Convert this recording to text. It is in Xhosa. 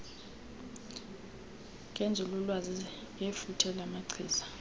ngenzululwazi ngefuthe lamachiza